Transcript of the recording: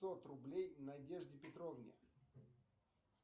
пятьсот рублей надежде петровне